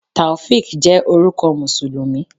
Taofiq jẹ́ orúkọ Mùsùlùmí.